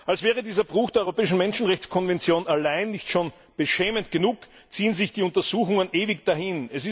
Als wäre dieser Bruch der europäischen Menschenrechtskonvention allein nicht schon beschämend genug, ziehen sich die Untersuchungen ewig hin.